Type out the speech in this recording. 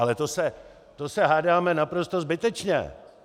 Ale to se hádáme naprosto zbytečně.